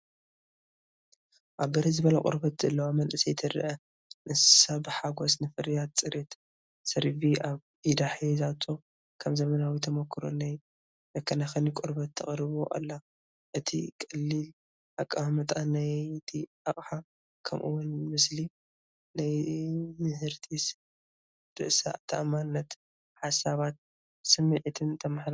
ኣብ ብርህ ዝበለ ቆርበት ዘለዋ መንእሰይ ትርአ፣ ንሳ ብሓጎስ ንፍርያት ጽሬት ሴራቪ ኣብ ኢዳ ሒዛቶ፡ ከም ዘመናዊ ተመኩሮ ናይ መከናኸኒ ቆርበት ተቕርቦ ኣላ። እቲ ቀሊል ቀማምጣ ናይቲ ኣቕሓ፡ ከምኡ’ውን ምስሊ፡ ናይምህርቲ ርእሰ-ተኣማንነታን ሓሳባት ስምዒታን የመሓላልፍ።